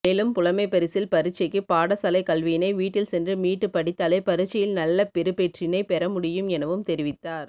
மேலும் புலமைப்பரிசில் பரீட்சைக்கு பாடசாலை கல்வியினை வீட்டில் சென்று மீட்டு படித்தாலே பரீட்சையில் நல்லபெறுபேற்றினை பெறமுடியும் எனவும் தெரிவித்தார்